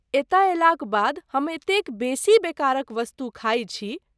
एतए अयलाक बाद हम एतेक बेसी बेकारक वस्तु खाइ छी।